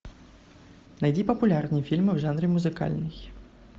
найди популярные фильмы в жанре музыкальный